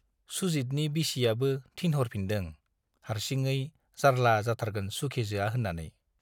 सुजितनि बिसियाबो थिनहरफिनदों, हारसिङै जार्ला जाथारगोन सुखेजोआ होन्नानै।